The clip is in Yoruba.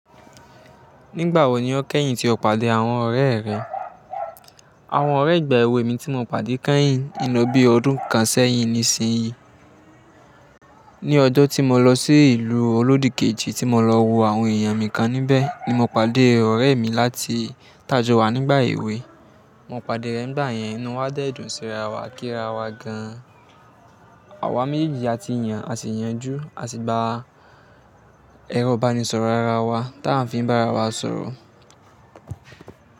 Nígbà wo ni o kẹ́yìn tí o pàdé àwọn ọ̀rẹ́ rẹ? Àwọn ọ̀rẹ́ ìgbà èwe mi tí mo pàdé kẹ́yìn ń lọ bí i ọdún kan sẹ́yìn nísinyí. Ní ọjọ́ tí mo lọ sí ìlú Olódì kejì tí mo lọ wo àwọn èèyàn mi kan níbẹ̀ ni mo pàdé ọ̀rẹ́ mi láti ta jọ wà nígbà èwe. Mo pàdé rẹ̀ n gbà yẹn inú wa dẹ́dùn sí ara wa a kíra wa gan. Àwa méjèèjì a ti yàn, a sì yanjú, a sì gba ẹ̀rọ ìbánisọ̀rọ̀ ara wa ta ń fi ń bá ara wa sọ̀rọ̀.